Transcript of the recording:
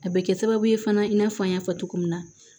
A bɛ kɛ sababu ye fana i n'a fɔ an y'a fɔ cogo min na